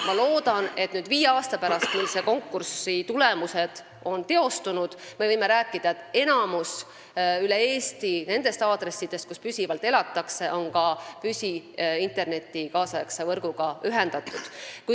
Ma loodan, et viie aasta pärast, mil selle konkursi tulemused on teostunud, me võime rääkida sellest, et üle Eesti on enamik nendest aadressidest, kus püsivalt elatakse, ühendatud ka nüüdisaegse püsiinternetivõrguga.